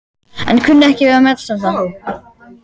en kunni ekki við að metast um það.